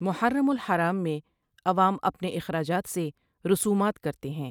محرم الحرام میں عوام اپنے اخراجات سے رسومات کرتے ہیں ۔